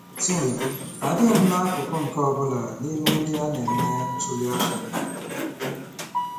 Tim: Adịghị m n'akụkụ nke ọ bụla n'ime ndị a na-eme ntuli aka.